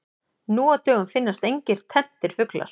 Nú á dögum finnast engir tenntir fuglar.